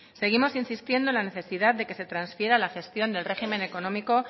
seguimos insistiendo en la necesidad de que se transfiera la gestión del régimen económico